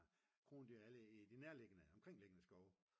krondyr i de nærliggende omkringliggende skove